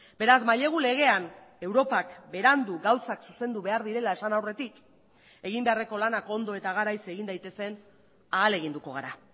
beraz mailegu legean europak berandu gauzak zuzendu behar direla esan aurretik egin beharreko lanak ondo eta garaiz egin daitezen ahaleginduko gara